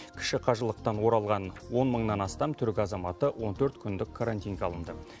кіші қажылықтан оралған он мыңнан астам түрік азаматы он төрт күндік карантинге алынды